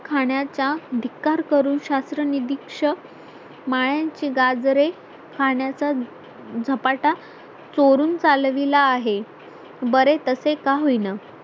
खाण्याचा धिकार करून शास्त्र निरीक्षक मायांची गाजरे खाण्याचा झपाटा चोरून चालविला आहे बरे तसे का होईना